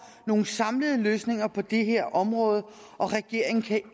nogle samlede løsninger på det her område og regeringen kan